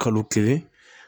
Kalo kelen